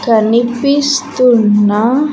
కనిపిస్తున్న.